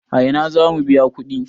A ina za mu biya kuɗi?